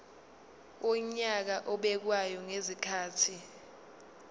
wonyaka obekwayo ngezikhathi